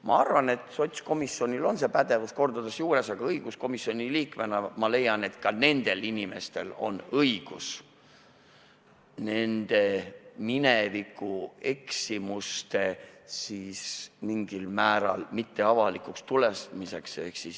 Ma arvan, et sotsiaalkomisjonil on see pädevus mitmekordselt olemas, aga õiguskomisjoni liikmena ma leian, et ka nendel inimestel on õigus sellele, et minevikueksimused avalikuks ei tuleks.